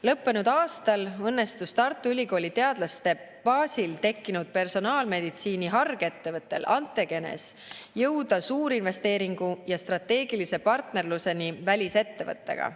Lõppenud aastal õnnestus Tartu Ülikooli teadlaste baasil tekkinud personaalmeditsiini hargettevõttel Antegenes jõuda suurinvesteeringu ja strateegilise partnerluseni välisettevõttega.